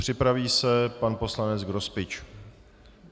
Připraví se pan poslanec Grospič.